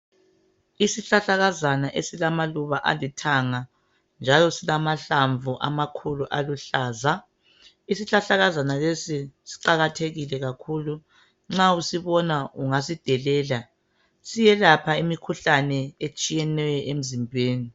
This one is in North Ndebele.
Isihlahlakazana esilamaluba alithanga .Njalo silamahlamvu amakhulu aluhlaza . Isihlahlakazana lesi siqalathekile kakhulu. Nxa usibona ungasidelela .Siyelapha imikhuhlane etshiyeneyo emzimbeni .